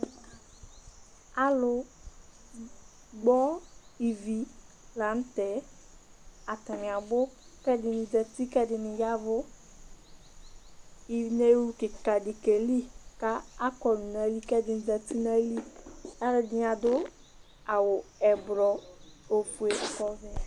Alʋgbɔ ivi lanʋtɛ, atani abʋ kʋ ɛdini zati kʋ ɛdini ya ɛvʋ, inewlʋ kikadi keli kʋ akɔlʋ nʋ ayili kʋ ɛdini zati nʋ ayili, alʋɛdini adʋ awʋ ɛblɔ, ofue lakʋ ɔvɛ